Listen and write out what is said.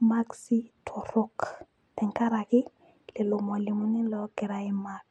imakisi torok tenkaraki lelo malimuni loogira ai mark